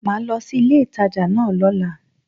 Màá lo sí ilé ìtajà náà lóla